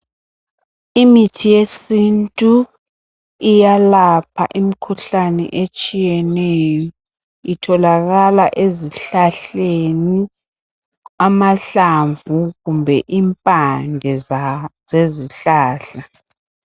Imithi yesintu iyalapha imkhuhlane etshiyeneyo, itholakala ezihlahleni, amahlamvu kumbe impande za zezihlahla.